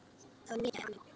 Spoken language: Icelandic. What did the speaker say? Það var mikið í ánni.